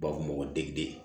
U b'a fɔ o ma ko degeden